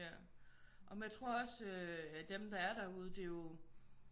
Ja jamen jeg tror også øh dem der er derude det er jo